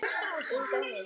Inga Huld.